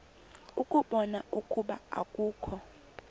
ukubona ukuba akukho